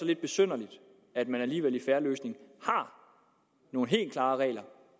lidt besynderligt at man alligevel i en fair løsning har nogle helt klare regler